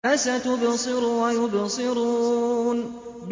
فَسَتُبْصِرُ وَيُبْصِرُونَ